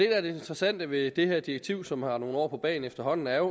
er det interessante ved det her direktiv som har nogle år på bagen efterhånden er